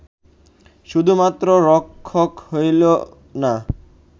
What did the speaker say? শুধুমাত্র রক্ষক রইলো না